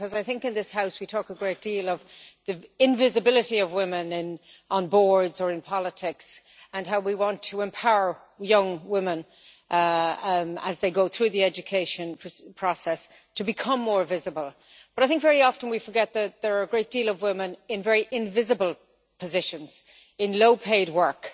I think in this House we talk a great deal about the invisibility of women on boards or in politics and how we want to empower young women as they go through the education process to become more visible, but I think very often we forget that there are a great deal of women in very invisible positions in low-paid work.